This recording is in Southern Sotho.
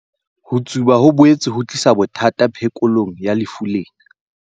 Ho tsuba ho boetse ho tlisa bothata phekolong ya lefu lena.